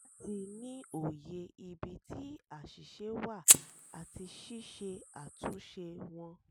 láti ní òye ibi tí àṣìṣe wà àti ṣíṣe àtúnṣe wọn.